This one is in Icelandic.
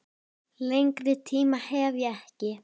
Lengri tíma hef ég ekki.